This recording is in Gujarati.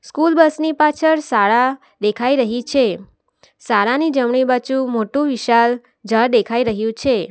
સ્કૂલ બસ ની પાછળ શાળા દેખાઈ રહી છે શાળાની જમણી બાજુ મોટું વિશાળ ઝાડ દેખાઈ રહ્યું છે.